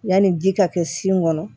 Yanni ji ka kɛ sin kɔnɔ